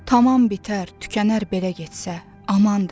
Tamam bitər, tükənər belə getsə, amandır.